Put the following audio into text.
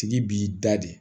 Tigi b'i da de